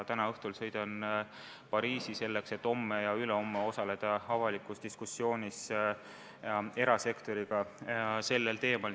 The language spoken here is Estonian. Täna õhtul sõidan ma Pariisi, selleks et homme ja ülehomme osaleda avalikus diskussioonis erasektoriga sellel teemal.